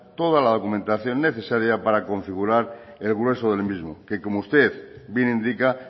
toda la documentación necesaria para configurar el grueso del mismo que como usted bien indica